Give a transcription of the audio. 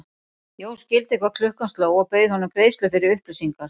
Jón skildi hvað klukkan sló og bauð honum greiðslu fyrir upplýsingar.